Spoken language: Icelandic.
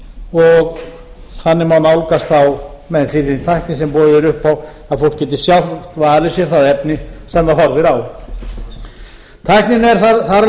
og þannig má nálgast þaðmeð þeirri tækni sem boðið er upp á að fólk geti sjálft valið sér það efni sem það horfir á tækninni er þar af